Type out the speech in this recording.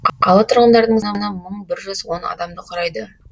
қала тұрғындарының саны мың бір жүз он адамды құрайды